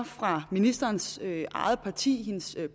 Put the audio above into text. fra ministerens eget parti hendes